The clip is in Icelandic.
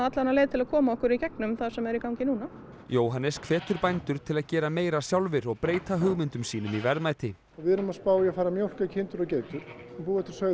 leið til að koma okkur í gegnum það sem er í gangi núna Jóhannes hvetur bændur til að gera meira sjálfir og breyta hugmyndum sínum í verðmæti við erum að spá í að fara að mjólka kindur og geitur og búa til